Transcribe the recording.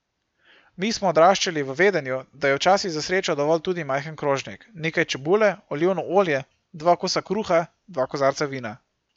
Mi smo odraščali v vedenju, da je včasih za srečo dovolj tudi majhen krožnik, nekaj čebule, olivno olje, dva kosa kruha, dva kozarca vina ...